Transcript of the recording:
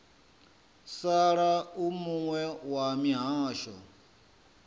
sala u muwe wa mihasho